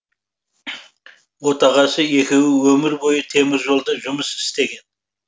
отағасы екеуі өмір бойы теміржолда жұмыс істеген